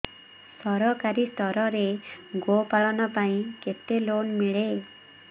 ସରକାରୀ ସ୍ତରରେ ଗୋ ପାଳନ ପାଇଁ କେତେ ଲୋନ୍ ମିଳେ